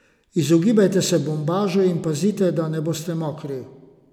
Izogibajte se bombažu in pazite, da ne boste mokri!